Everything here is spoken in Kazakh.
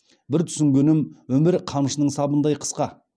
бір түсінгенім өмір қамшының сабындай қысқа